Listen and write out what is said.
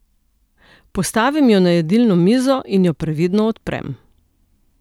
Postavim jo na jedilno mizo in jo previdno odprem.